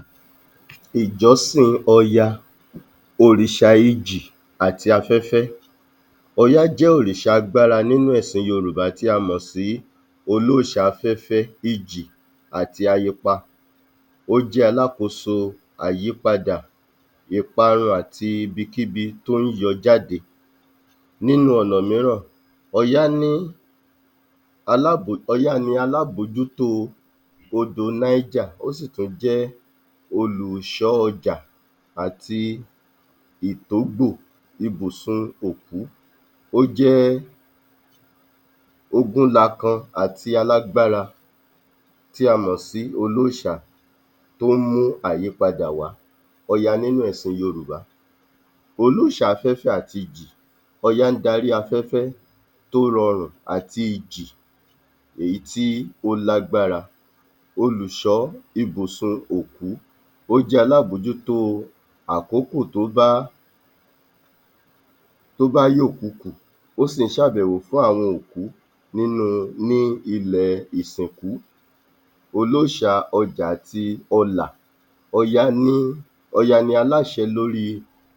34. Ìjọ́sìn Ọya, òrìṣà ijì àti afẹ́fẹ́ Ọya jẹ́ òrìṣà agbára nínú ẹ̀sìn Yorùbá tí a mọ̀ sí olóòṣà afẹ́fẹ́, ijì àti ayepa, ó jẹ́ alákòóso àyípadà ìparun àti ibikíbi tó ń yọ jáde. Nínú ọ̀nà mìíràn, Ọya ní alabòó, Ọya ni alábòójútó odò Náíjà ó sì tún jẹ́ olùṣọ́ ọjà àti ìtógbò ibùsùn òkú, ó jẹ́ ogúnlakan àti alágbára tí a mọ̀ sí olóòṣà tó ń mú àyípadà wá. Ọya nínú ẹ̀sìn Yorùbá Olùsáfẹ́fẹ́ àti ìjì, Ọya ń darí afẹ́fẹ́ tó rọrùn àti ìjì èyí tí ó lágbára. Olùṣọ́ ibùsùn òkú, ó jẹ́ alábòójútó àkókò tó bá tó bá yòkukù, ó sì ń ṣàbẹ́wò fún àwọn òkú nínú ní ilẹ̀ ìsìnkú. Olóòṣà ọlà àti ọjà Ọya ní, Ọya ni aláṣe lórí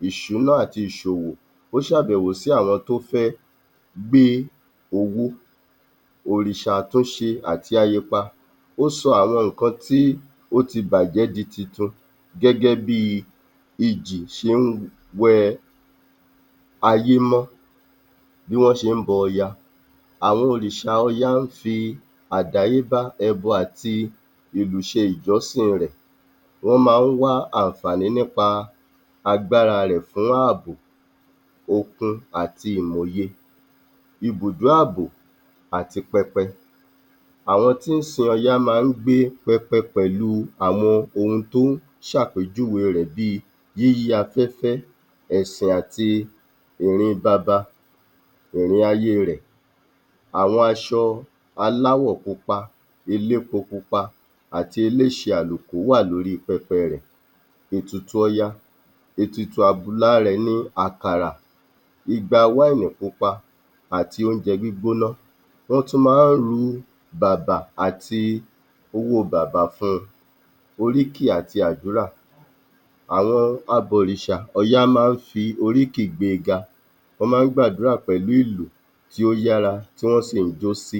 ìṣúná àti ìṣòwò, ó ṣàbẹ́wò sí àwọn tó fẹ́ gbé owó. Òrìṣà tó ṣe àti ahepa, ó sọ àwọn nǹkan tí ó ti bàjẹ́ di titun gẹ́gẹ́ bíi ìjì ṣe ń wẹ ayé mọ́. Bí wọ́n ṣe ń bọ Ọya Àwọn òrìṣà Ọya ń fi àdáyébá, ẹbọ àti ìlù ṣe Ìjọ́sìn rẹ̀. Wọ́n máa ń wá àǹfààní nípa agbára rẹ̀ fún ààbò, okun àti ìmọ̀ òye. ibùdó ààbò àti pẹpẹ Àwọn tí ń sin Ọya máa ń gbé pẹpẹ pẹ̀lú àwọn ohun tó ń ṣàpèjúwe rẹ̀ bíi yíyí afẹ́fẹ́, ẹ̀sìn àti ìrin baba, ìrìn ayé rẹ̀, àwọn aṣọ aláwọ̀ pupa, elépo pupa àti eleṣe àlùkò wà lórí pẹpẹ rẹ̀. Ètùtù Ọya Ètùtù àbùlá rẹ̀ ni àkàrà, igbawá èèyàn pupa àti oúnjẹ gbígbóná, wọ́n tú máa ń rú bàbà àti owó bàbà fún un. Oríkì àti àdúrà Àwọn abọ̀rìsà Ọya máa ń fi oríkì gbé e ga, wọ́n máa ń gbàdúrà pẹ̀lú ìlù tí ó yára tí wọ́n sì ń jó sí.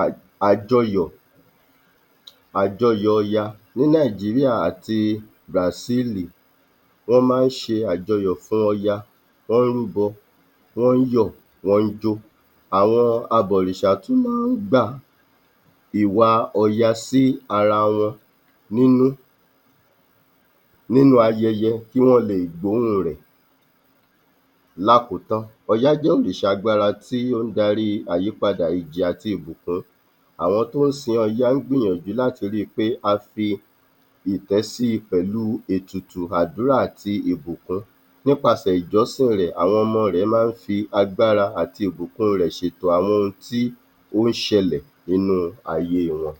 Um Àjọyọ̀, Àjọyọ̀ Ọya Ní Nàìjíríà àti Bàsíìlì wọ́n máa ń ṣe Àjọyọ̀ fún Ọya, wọ́n ń rúbọ, wọ́n ń yọ̀, wọ́n ń jó, àwọn abọ̀rìsà tú máa ń gbà ìwà Ọya sí ara wọn nínú, nínú ayẹyẹ kí wọ́n leè gbóhùn rẹ̀. Lákòótán, Ọya jẹ́ òrìṣà agbára tí ó ń daríi àyípadà àti ìbùkún, àwọn tó ń sin Ọya ń gbìyànjú láti ríi pé, a fi ìtẹ́ síi pẹ̀lú ètùtù àdúrà àti ìbùkún nípasẹ̀ Ìjọ́sìn rẹ̀, àwọn ọmọ rẹ̀ máa ń fi agbára àti ìbùkún rẹ̀ ṣètò ààbò àwọn ohun tí ó ń ṣẹlẹ̀ nínú ayé wọn.